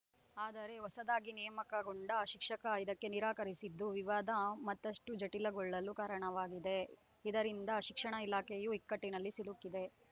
ಆದರೆ ಹೊಸದಾಗಿ ನೇಮಕಗೊಂಡ ಶಿಕ್ಷಕ ಇದಕ್ಕೆ ನಿರಾಕರಿಸಿದ್ದು ವಿವಾದ ಮತ್ತಷ್ಟುಜಟಿಲಗೊಳ್ಳಲು ಕಾರಣವಾಗಿದೆ ಇದರಿಂದ ಶಿಕ್ಷಣ ಇಲಾಖೆಯೂ ಇಕ್ಕಟ್ಟಿನಲ್ಲಿ ಸಿಲುಕಿದೆ